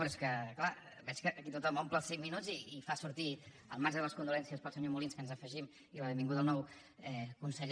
però és que clar veig que aquí tothom omple els cinc minuts i fa sortir al marge de les condolences pel senyor molins que ens hi afegim i la benvinguda al nou conseller